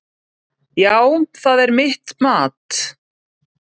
Já, það er mitt mat.